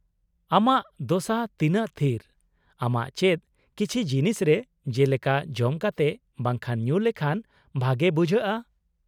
-ᱟᱢᱟᱜ ᱫᱚᱥᱟ ᱛᱤᱱᱟᱹᱜ ᱛᱷᱤᱨ, ᱟᱢᱟᱜ ᱪᱮᱫ ᱠᱤᱪᱷᱤ ᱡᱤᱱᱤᱥ ᱨᱮ , ᱡᱮᱞᱮᱠᱟ ᱡᱚᱢ ᱠᱟᱛᱮ ᱵᱟᱝᱠᱷᱟᱱ ᱧᱩ ᱞᱮᱠᱷᱟᱱ ᱵᱷᱟᱜᱮ ᱵᱩᱡᱷᱟᱹᱜᱼᱟ ?